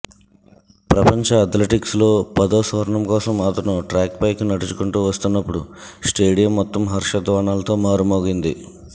ప్రపంచ అథ్లెటిక్స్లో పదో స్వర్ణం కోసం అతను ట్రాక్పైకి నడుచుకుంటూ వస్తున్నప్పుడు స్టేడియం మొత్తం హర్షధ్వానాలతో మారుమోగింది